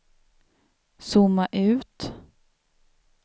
zooma ut